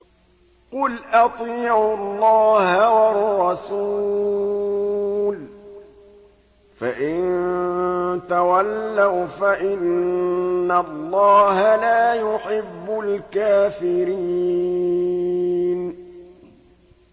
قُلْ أَطِيعُوا اللَّهَ وَالرَّسُولَ ۖ فَإِن تَوَلَّوْا فَإِنَّ اللَّهَ لَا يُحِبُّ الْكَافِرِينَ